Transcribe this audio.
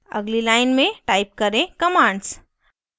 अगली line में type करें commands